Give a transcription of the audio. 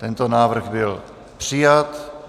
Tento návrh byl přijat.